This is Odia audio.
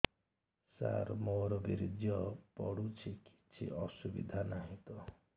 ସାର ମୋର ବୀର୍ଯ୍ୟ ପଡୁଛି କିଛି ଅସୁବିଧା ନାହିଁ ତ